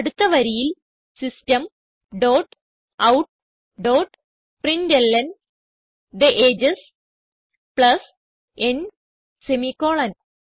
അടുത്ത വരിയിൽ system dot out dot println the ages plus n semicolon